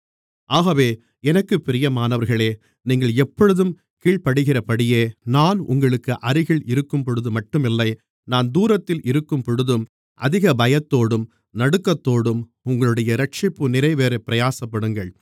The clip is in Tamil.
ஆகவே எனக்குப் பிரியமானவர்களே நீங்கள் எப்பொழுதும் கீழ்ப்படிகிறபடியே நான் உங்களுக்கு அருகில் இருக்கும்பொழுது மட்டுமில்லை நான் தூரத்தில் இருக்கும்பொழுதும் அதிக பயத்தோடும் நடுக்கத்தோடும் உங்களுடைய இரட்சிப்பு நிறைவேறப் பிரயாசப்படுங்கள்